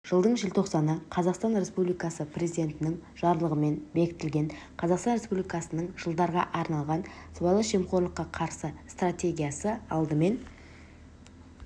жылдың желтоқсаны қазақстан республикасы президентінің жарлығымен бекітілген қазақстан республикасының жылдарға арналған сыбайлас жемқорлыққа қарсы стратегиясы алдымен